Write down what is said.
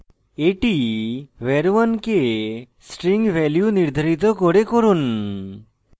এটি var 1 কে string নির্ধারিত করে করুন